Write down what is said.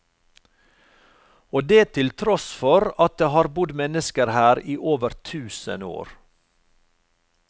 Og det til tross for at det har bodd mennesker her i over tusen år.